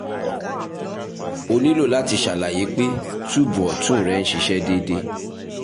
o nilo lati ṣalaye pe tube ọtun rẹ n ṣiṣẹ deede